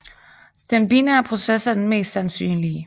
Den binære proces er den mest sandsynlige